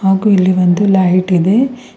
ಹಾಗೂ ಇಲ್ಲಿ ಒಂದು ಲೈಟ್ ಇದೆ.